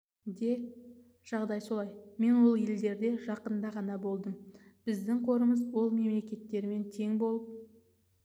де жағдай солай мен ол елдерде жақында ғана болдым біздің қорымыз ол мемлекеттермен тең болып